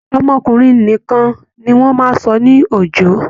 Ọmọkùnrin nìkan ni wọ́n máa ń sọ ní Òjó